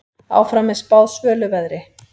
Áfram er spáð svölu veðri.